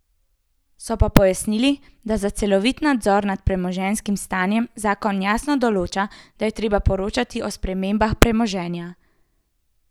So pa pojasnili, da za celovit nadzor nad premoženjskim stanjem zakon jasno določa, da je treba poročati o spremembah premoženja.